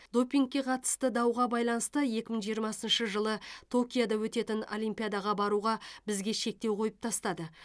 допингке қатысты дауға байланысты екі мың жиырмасыншы жылы токиода өтетін олимпиадаға баруға бізге шектеу қойып тастады